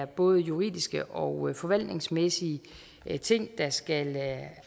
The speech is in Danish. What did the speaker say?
både er juridiske og forvaltningsmæssige ting der skal